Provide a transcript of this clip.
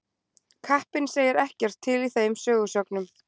Kappinn segir ekkert til í þeim sögusögnum.